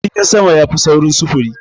Jirgin sama yafi saurin sufuri.